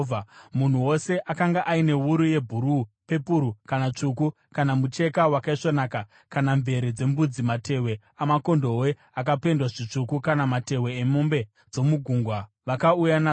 Munhu wose akanga aine wuru yebhuruu, pepuru kana tsvuku kana mucheka wakaisvonaka, kana mvere dzembudzi, matehwe amakondobwe akapendwa zvitsvuku kana matehwe emombe dzomugungwa, vakauya nazvo.